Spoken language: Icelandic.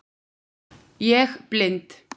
Ég blind